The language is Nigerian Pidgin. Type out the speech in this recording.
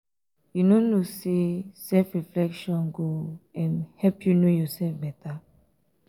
you no know sey self-reflection go um help you know um yoursef beta? um